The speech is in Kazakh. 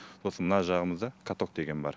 сосын мына жағымызда каток деген бар